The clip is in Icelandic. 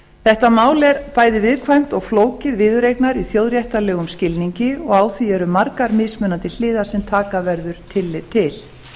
þetta mál er bæði viðkvæmt og flókið viðureignar í þjóðréttarlegum skilningi og á því eru margar mismunandi hliðar sem taka verður tillit til